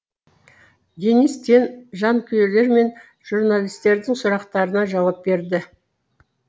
денис тен жанкүйерлер мен журналистердің сұрақтарына жауап берді